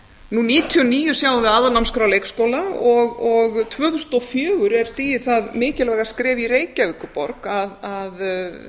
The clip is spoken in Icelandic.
nú nítján hundruð níutíu og níu sjáum við aðalnámskrá leikskóla og tvö þúsund og níu er stigið það mikilvæga skref í reykjavíkurborg að þar